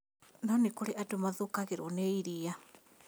No nĩ kũrĩ andũ mathũkagĩrwo nĩ iriia